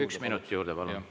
Üks minut juurde, palun!